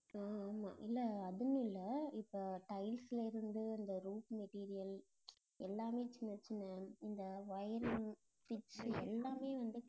ஆஹ் ஆமா இல்ல அதுவும் இல்லை இப்ப tiles ல இருந்து, இந்த roof material எல்லாமே சின்ன, சின்ன இந்த wiring, switch எல்லாமே வந்து